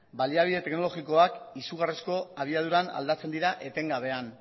baliabide teknologikoak izugarrizko abiaduran aldatzen dira etengabean